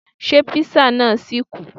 Ṣé Písà náà ṣì kù?